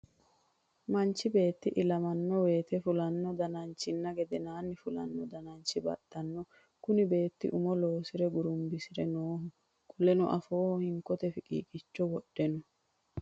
Manchi beeti ilamano woyite fulano dananchinna geedheenna fulano danchi baxano. Kunni beeti umo losere gurumbisire nooho. Qoleno afooho hinkote fiqiiqicho wodhe no.